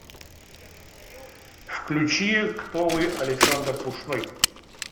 включи кто вы александр пушной